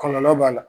Kɔlɔlɔ b'a la